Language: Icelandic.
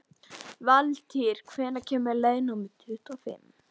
Valtýr, hvenær kemur leið númer tuttugu og fimm?